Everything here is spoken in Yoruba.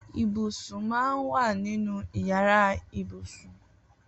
Ibúsún mà n wà ninú iyàrá ibúsún